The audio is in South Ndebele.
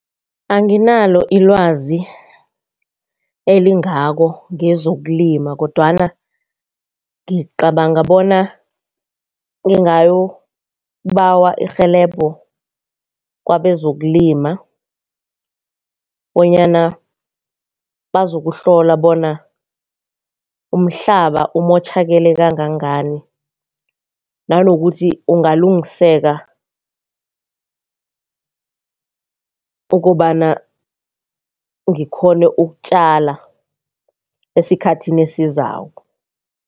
Anginalo ilwazi elingako ngezokulima kodwana ngicabanga bona ngingayokubawa irhelebho kwabezokulima bonyana bazokuhlola bona umhlaba umotjhakele kangangani. Nanokuthi ungalungiseka ukobana ngikghone ukutjala esikhathini esizako.